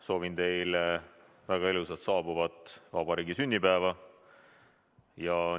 Soovin teile väga ilusat saabuvat vabariigi sünnipäeva!